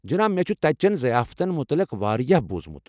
جناب، مےٚ چھُ تتہِ چین ضِیافتن متعلِق واریاہ بوُزمٗت۔